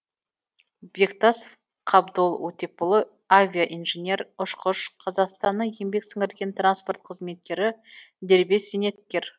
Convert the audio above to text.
бектасов қабдол отепұлы авиа инженер ұшқыш қазақстанның еңбек сіңірген транспорт қызметкері дербес зейнеткер